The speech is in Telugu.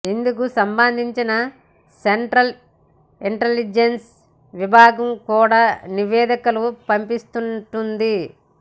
ఇందుకు సంబంధించి సెంట్రల్ ఇంటలిజెన్స్ విభాగం కూడా నివేదికలు పంపిస్తుంటుంది